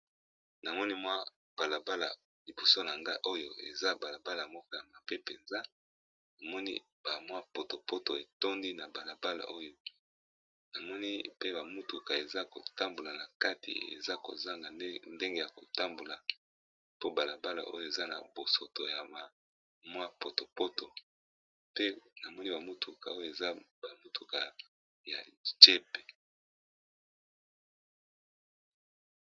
Namoni mwa talatala, pe Namoni balabala oyo eza na potopoto ébélé